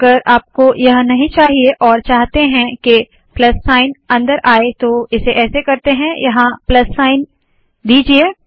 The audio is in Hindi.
अगर आपका यह नहीं चाहिए और चाहते है के प्लस साइन अंदर आए तो इसे ऐसे करते है यहाँ प्लस चिन्ह दीजिए